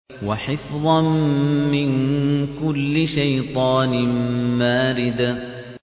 وَحِفْظًا مِّن كُلِّ شَيْطَانٍ مَّارِدٍ